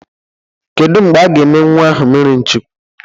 Kedụ mgbe a ga-eme nnwa ahụ mmiri Chukwu?